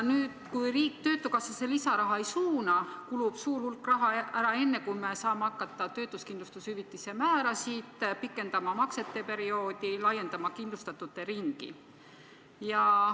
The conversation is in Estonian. Kui riik töötukassasse lisaraha ei suuna, kulub suur hulk raha ära enne, kui me saame hakata pikendama maksete perioodi, laiendama kindlustatute ringi.